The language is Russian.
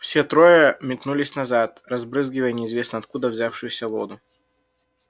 все трое метнулись назад разбрызгивая неизвестно откуда взявшуюся воду